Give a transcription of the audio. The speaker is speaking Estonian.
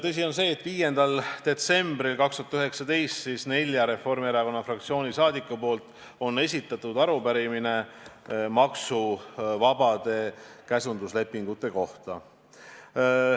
Tõsi on see, et 5. detsembril 2019 esitasid neli Reformierakonna fraktsiooni liiget arupärimise maksuvabade käsunduslepingute kohta.